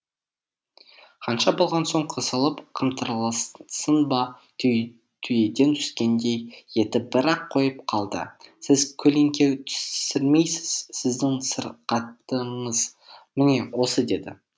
ханша болған соң қысылып қымтырылсын ба түйеден түскендей етіп бір ақ қойып қалды сіз көлеңке түсірмейсіз сіздің сырқатыңыз міне осы деді